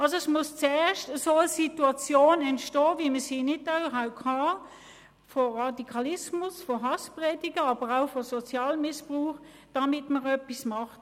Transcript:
Es muss also erst eine Situation entstehen, wie wir sie in Nidau hatten – von Radikalismus, von Hasspredigten, aber auch von Sozialhilfemissbrauch, damit man etwas macht.